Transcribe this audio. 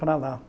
lá